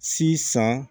Si san